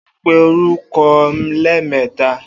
O óò pe orúko̩ lé̩è̩mé̩ta!